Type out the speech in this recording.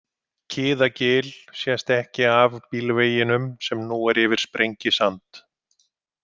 Kiðagil sést ekki af bílveginum sem nú er yfir Sprengisand.